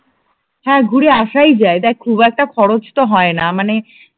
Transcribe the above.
হ্যাঁ, ঘুরে আসাই যায় দেখ খুব একটা খরচ তো হয় না মানে